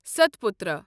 Satpura